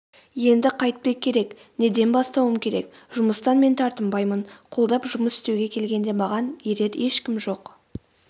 енді қайтпек керек неден бастауым керек жұмыстан мен тартынбаймын қолдап жұмыс істеуге келгенде маған ерер ешкім жоқ